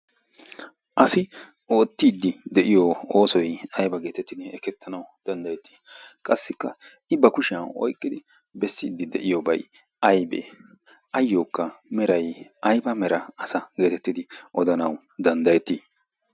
asi oottiiddi de'iyo oosoy ayba geetettinne ekkettanawu danddayettii qassikka i ba kushiyan oyqqidi bessiiddi de'iyoobay aybee ayyookka meray ayba mera asa' geetettidi odanawu danddayettii